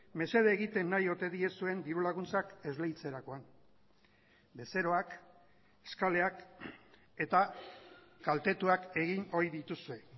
mesede egiten nahi ote diezuen diru laguntzak esleitzerakoan bezeroak eskaleak eta kaltetuak egin ohi dituzue